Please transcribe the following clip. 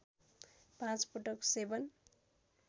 पाँच पटक सेवन